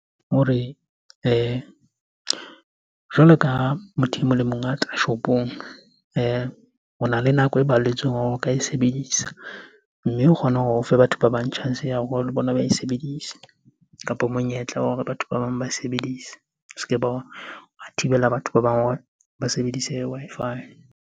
Hore jwalo ka motho e mong le mong a tla shopong, ona le nako e balletsweng hore o ka e sebedisa. Mme o kgone hore ho o fe batho ba bang chance ya bona ba e sebedise kapo monyetla wa hore batho ba bang ba e sebedise. O ske be wa thibela batho ba bang hore ba sebedise Wi-Fi.